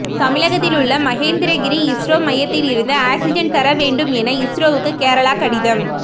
தமிழகத்தில் உள்ள மகேந்திரகிரி இஸ்ரோ மையத்திலிருந்து ஆக்சிஜன் தர வேண்டும் என இஸ்ரோவுக்கு கேரளா கடிதம்